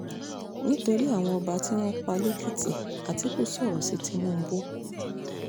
nítorí àwọn ọba tí wọ́n pa lèkìtì àtìkú sọ̀rọ̀ sí tìǹbù